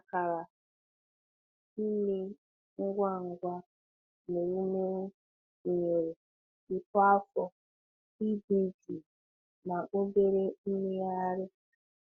Akara ime ngwa ngwa n’ewumewụ gụnyere uto afọ, ịdị jụụ, na obere mmegharị.